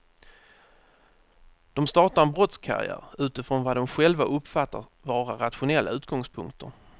De startar en brottskarriär utifrån vad de själva uppfattar vara rationella utgångspunkter.